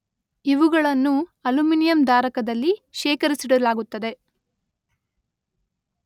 ಇವುಗಳನ್ನು ಅಲ್ಯೂಮಿನಿಯಂ ಧಾರಕದಲ್ಲಿ ಶೇಖರಿಸಿಡಲಾಗುತ್ತದೆ.